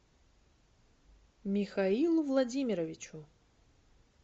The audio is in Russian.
михаилу владимировичу